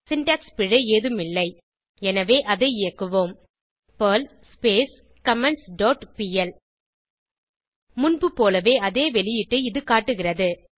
syntax பிழை ஏதும் இல்லை எனவே அதை இயக்குவோம் பெர்ல் கமெண்ட்ஸ் டாட் பிஎல் முன்புபோலவே அதே வெளியீட்டை அது காட்டுகிறது